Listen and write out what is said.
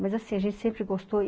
Mas assim, a gente sempre gostou.